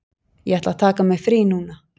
Ég ætla að taka mér frí núna.